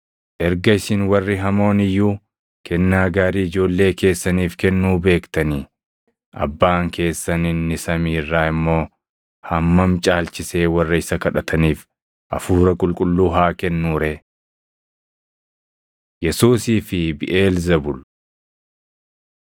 Erga isin warri hamoon iyyuu kennaa gaarii ijoollee keessaniif kennuu beektanii, Abbaan keessan inni samii irraa immoo hammam caalchisee warra isa kadhataniif Hafuura Qulqulluu haa kennuu ree!” Yesuusii fi Biʼeelzebuul 11:14,15,17‑22,24‑26 kwf – Mat 12:22,24‑29,43‑45 11:17‑22 kwf – Mar 3:23‑27